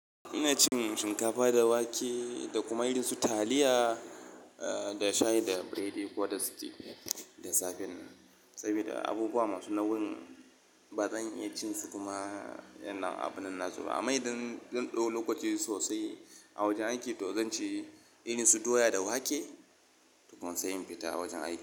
Ina cin shinkafa da wake da kuma irin su taliya, eh, da shayi da biredi ko da stew da safennan. Sabida abubuwa masu nauyi ba zan iya cin su kuma a yanna abunan nasuba. Amma idan zan dau lokaci sosai a wajen aiki to zan ci irin su doya da wake tukun sai in fita wajen aiki.